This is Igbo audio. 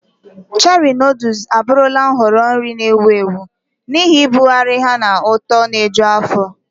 Cherie noodles abụrụla nhọrọ nri na-ewu ewu n'ihi ibugharị ha na ụtọ na-eju afọ.